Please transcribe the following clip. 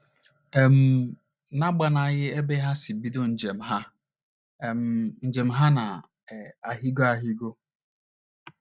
um N’agbanyeghị ebe ha si bido njem ha, um njem ha na um - ahịgọ ahịgọ.